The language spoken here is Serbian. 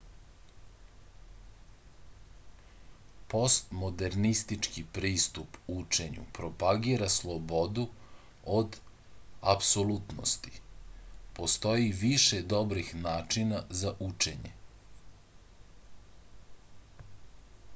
postmodernistički pristup učenju propagira slobodu od apsolutnosti postoji više dobrih načina za učenje